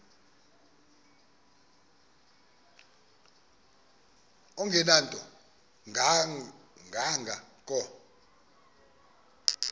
engenanto kanga ko